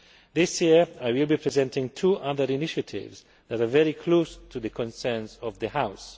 This year I will be presenting two other initiatives that are very close to the concerns of this House.